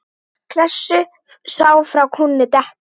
Klessu sá frá kúnni detta.